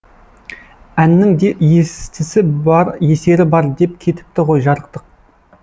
әннің де естісі бар есері бар деп кетіпті ғой жарықтық